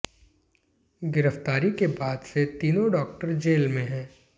गिरफ्तारी के बाद से तीनों डाक्टर जेल में है